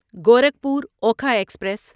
Gorakhpur Okha express